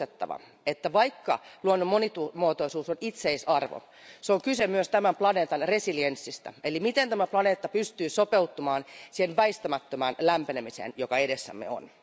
On muistettava, että vaikka luonnon monimuotoisuus on itseisarvo, on kyse myös tämän planeetalle resilienssistä, eli siitä, miten tämä planeetta pystyy sopeutumaan siihen väistämättömään lämpenemiseen, joka edessämme on.